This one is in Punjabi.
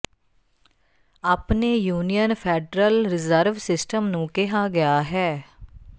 ਆਪਣੇ ਯੂਨੀਅਨ ਫੈਡਰਲ ਰਿਜ਼ਰਵ ਸਿਸਟਮ ਨੂੰ ਕਿਹਾ ਗਿਆ ਹੈ